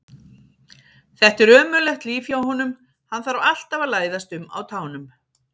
Þetta er ömurlegt líf hjá honum, hann þarf alltaf að læðast um á tánum.